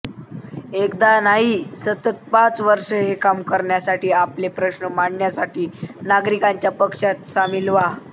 एकदा नाही सतत पाच वर्षे हे काम करण्यासाठी आपले प्रश्न मांडण्यासाठी नागरिकांच्या पक्षात सामील व्हा